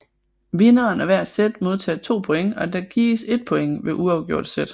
Vinderen af hver set modtager 2 points og der gives 1 point ved uafgjorte set